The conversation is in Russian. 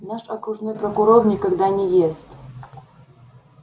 наш окружной прокурор никогда не ест